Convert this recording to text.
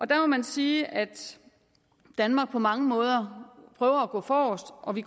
der må man sige at danmark på mange måder prøver at gå forrest og vi